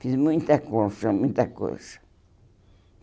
Fiz muita colcha, muita colcha.